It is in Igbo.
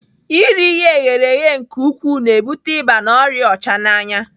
Iri ihe eghere eghe nke ukwuu na-ebute ịba na ọrịa ọchananya.